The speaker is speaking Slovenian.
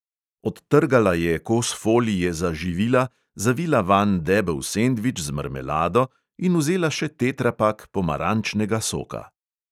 Odtrgala je kos folije za živila, zavila vanj debel sendvič z marmelado in vzela še tetrapak pomarančnega soka.